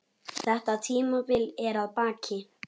Þetta tímabil er að baki.